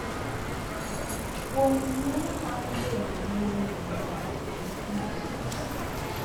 Kuong’o nyalo mar bedo gi ng’eyo marach kod tudruok marach.